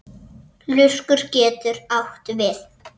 Lurkur getur átt við